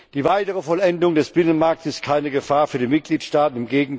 Die weitere Vollendung des Binnenmarkts ist keine Gefahr für die Mitgliedstaaten.